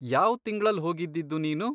ಯಾವ್ ತಿಂಗ್ಳಲ್ ಹೋಗಿದ್ದಿದ್ದು ನೀನು?